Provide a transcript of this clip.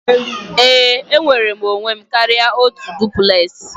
Ee, enwere m onwe m karịa otu duplex